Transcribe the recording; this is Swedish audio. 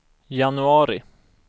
januari